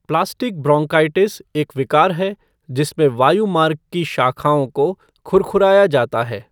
Plastic bronchitis एक विकार है जिसमें वायुमार्ग की शाखाओं को खुरखुराया जाता है।